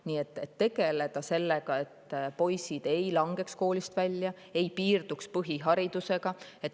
Nii et tuleks tegeleda sellega, et poisid ei langeks koolist välja, ei piirduks põhiharidusega.